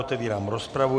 Otevírám rozpravu.